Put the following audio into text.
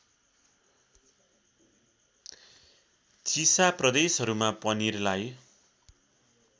चिसा प्रदेशहरूमा पनिरलाई